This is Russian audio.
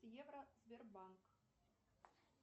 евро сбербанк